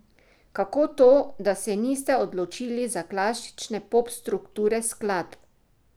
Kako to, da se niste odločili za klasične pop strukture skladb?